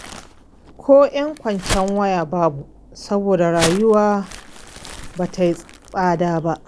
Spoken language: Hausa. Ko ƴan kwacen waya babu saboda rayuwar ba tai tsada ba.